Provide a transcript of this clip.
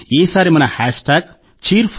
ఈసారి మన hashtag Cheer4Bharat